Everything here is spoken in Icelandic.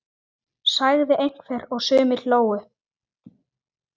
sagði einhver og sumir hlógu.